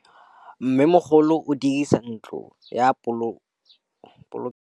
Mmêmogolô o dirisa ntlo ya polokêlô, go boloka mabele.